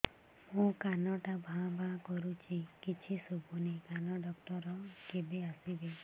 ମୋ କାନ ଟା ଭାଁ ଭାଁ କରୁଛି କିଛି ଶୁଭୁନି କାନ ଡକ୍ଟର କେବେ ଆସିବେ